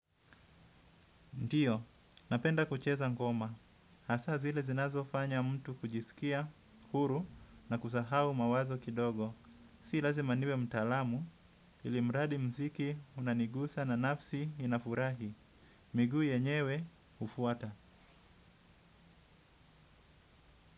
Ndiyo, napenda kucheza ngoma. Hasa zile zinazofanya mtu kujiskia, huru na kusahau mawazo kidogo. Si lazima niwe mtalamu ili mradi mziki unanigusa na nafsi inafurahi. Migu yenyewe, ufuata.